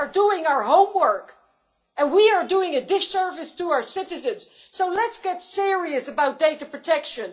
They are doing our homework and we are doing a disservice to our citizens. So let's get serious about data protection.